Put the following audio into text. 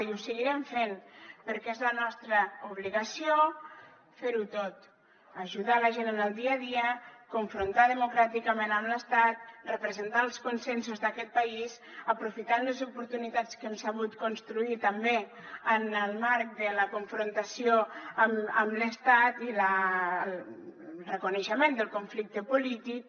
i ho seguirem fent perquè és la nostra obligació fer ho tot ajudar la gent en el dia a dia confrontar democràticament amb l’estat representar els consensos d’aquest país aprofitant les oportunitats que hem sabut construir també en el marc de la confrontació amb l’estat i el reconeixement del conflicte polític